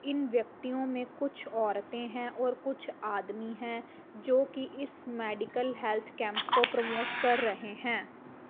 इन व्यक्तियों में कुछ औरतें है और कुछ आदमी है जोकि इस मेडिकल हेल्थ कैंप को प्रमोट कर रहे हैं।